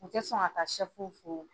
U tɛ sɔn ka ta fo.